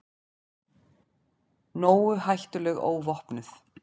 Nógu hættuleg óvopnuð.